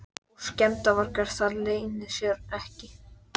Og skemmdarvargar, það leynir sér ekki.